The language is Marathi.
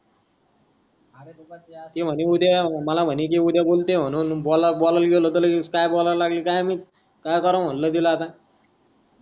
ते मन्हे कि उद्या ये मला मन्हे कि उद्या बोलतो मानून बोला बोलायला गेलो त लगेच काय बोलायला काय माहित काय कराव मनल तिला आता